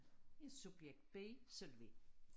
Jeg er subjekt B Solvej